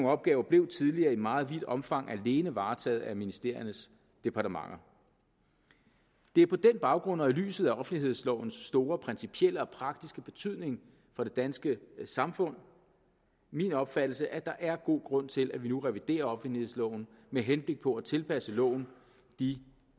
opgaver blev tidligere i meget vidt omfang alene varetaget af ministeriernes departementer det er på den baggrund og i lyset af offentlighedslovens store principielle og praktiske betydning for det danske samfund min opfattelse at der er god grund til at vi nu reviderer offentlighedsloven med henblik på at tilpasse loven de